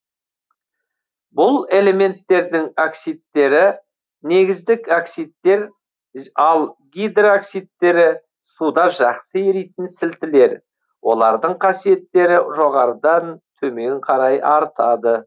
бұл элементтердің оксидтері негіздік оксидтер ал гидроксидтері суда жақсы еритін сілтілер олардың қасиеттері жоғарыдан төмен қарай артады